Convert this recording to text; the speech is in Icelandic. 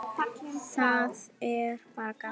Það er bara gaman.